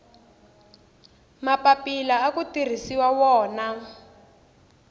mapapila aku tirhisiwa wona